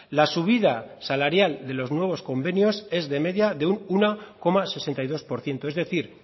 la subida salarial de los nuevos convenios es de media de uno coma sesenta y dos por ciento es decir